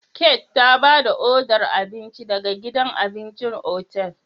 Kate ta ba da odar abinci daga gidan abincin otal.